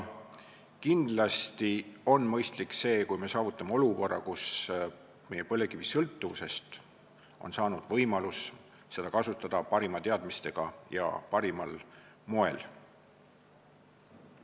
Kindlasti on mõistlik see, kui me saavutame olukorra, kus meie põlevkivisõltuvusest on saanud võimalus kasutada seda parimate teadmistega ja parimal moel.